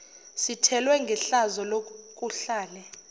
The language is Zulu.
sithelwe ngehlazo lokuhlale